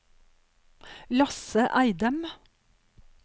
Lasse Eidem